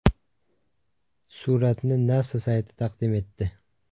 Suratni NASA sayti taqdim etdi .